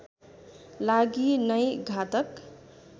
लागि नै घातक